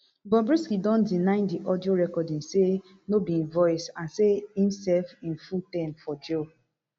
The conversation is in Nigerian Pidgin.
wey be eighty-eight thousand naira plus di septemba new um allowance of seventy-seven thousand naira